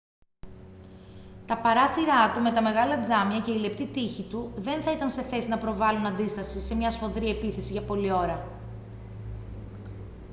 τα παράθυρά του με τα μεγάλα τζάμια και οι λεπτοί τοίχοι του δεν θα ήταν σε θέση να προβάλλουν αντίσταση σε μια σφοδρή επίθεση για πολλή ώρα